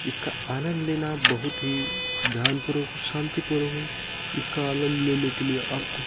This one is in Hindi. इसका आनन्द लेना बहुत ही ध्यान पूर्वक शान्ति पूर्व है इसका आंनद लेने के लिए आपको--